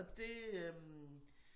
Og det øh